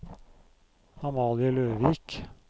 Amalie Løvik